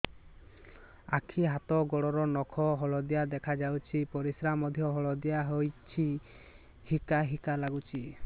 ଆଖି ହାତ ଗୋଡ଼ର ନଖ ହଳଦିଆ ଦେଖା ଯାଉଛି ପରିସ୍ରା ମଧ୍ୟ ହଳଦିଆ ହଉଛି ହିକା ହିକା ଲାଗୁଛି